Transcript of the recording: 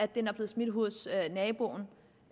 den er blevet smidt ind hos naboen